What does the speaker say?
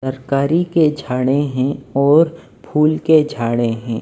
तरकारी के छाड़े हैं और फूल के झाड़ें हैं।